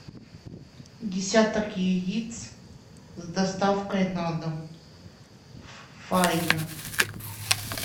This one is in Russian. десяток яиц с доставкой на дом фаина